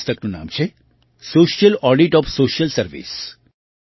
પુસ્તકનું નામ છે social audit of social service